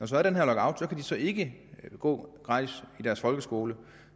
så er den her lockout kan de så ikke gå gratis i deres folkeskole